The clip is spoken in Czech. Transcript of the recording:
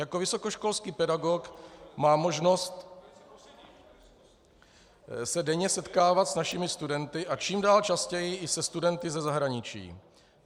Jako vysokoškolský pedagog mám možnost se denně setkávat s našimi studenty a čím dál častěji i se studenty ze zahraničí.